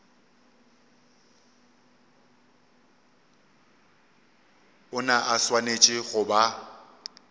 ona a swanetše go ba